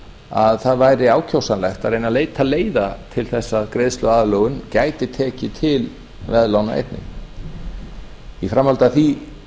að það væri ákjósanlegt að reyna að leita leiða til þess að greiðsluaðlögun gæti tekið til veðlána einnig í framhaldi af því